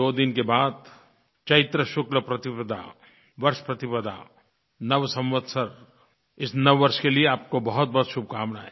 दो दिन के बाद चैत्र शुक्ल प्रतिपदा वर्ष प्रतिपदा नव संवत्सर इस नववर्ष के लिये आपको बहुतबहुत शुभकामनायें